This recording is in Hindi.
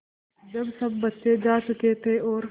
जब सब बच्चे जा चुके थे और